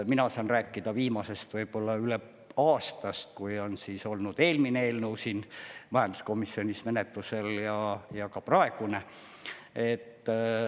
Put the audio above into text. Mina saan rääkida viimasest aastast, kui on olnud eelmine eelnõu majanduskomisjonis menetlusel ja ka praegune.